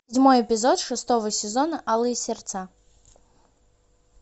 седьмой эпизод шестого сезона алые сердца